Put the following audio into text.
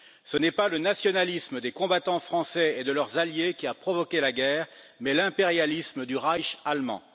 Ce n'est pas le nationalisme des combattants français et de leurs alliés qui a provoqué la guerre, mais l'impérialisme du Reich allemand.